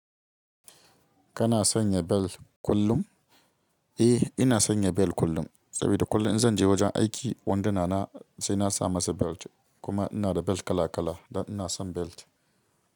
Kana sanya bel kullum? Eh, ina sanya bel kullum. Saboda kullum in zan je wajen aiki wanduna na sai na sa masa bel. Kuma ina da bel kala kala dan ina son bel.